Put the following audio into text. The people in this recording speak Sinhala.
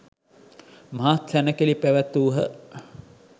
මහත් සැණකෙළි පැවැත්වූහ.